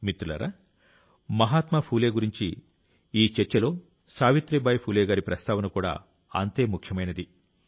మిత్రులారా మహాత్మా ఫూలే గురించిన ఈ చర్చలో సావిత్రీబాయి ఫూలే గారి ప్రస్తావన కూడా అంతే ముఖ్యమైనది